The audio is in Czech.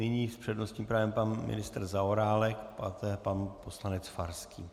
Nyní s přednostním právem pan ministr Zaorálek, pak pan poslanec Farský.